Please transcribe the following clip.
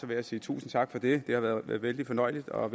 jeg sige tusind tak for det det har været vældig fornøjeligt og